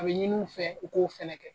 A be ɲini u fɛ, u k'o fɛnɛ kɛ.